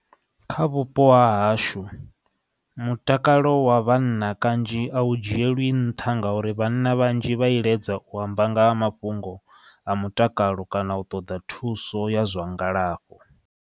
Kha vhupo ha hashu mutakalo wa vhanna kanzhi a u dzhielwi nṱha ngauri vhanna vhanzhi vha iledza u amba nga ha mafhungo a mutakalo kana u ṱoḓa thuso ya zwa ngalafho.